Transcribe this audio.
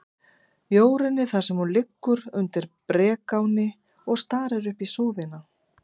Jórunni, þar sem hún liggur undir brekáni og starir upp í súðina.